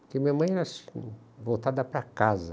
Porque minha mãe era assim, voltada para casa.